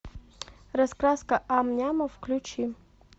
раскраска ам няма включи